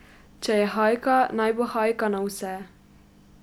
Če je hajka, naj bo hajka na vse.